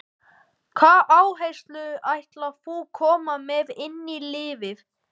Hvaða áherslur ætlar þú koma með inn í liðið?